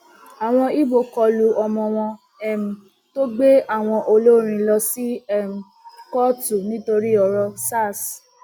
àwọn ibo kọlu ọmọ wọn um tó gbé àwọn olórin lọ sí um kóòtù nítorí ọrọ sars